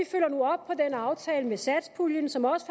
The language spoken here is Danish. aftale med satspuljen som også